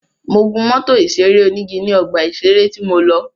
Mo gún mọ́tò ìṣeré onígi ní ọgbà ìṣeré tí mo lọ.